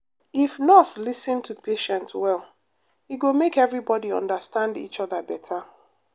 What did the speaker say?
if nurse lis ten to patient well e go make everybody understand each other better.